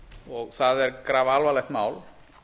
og það er grafalvarlegt mál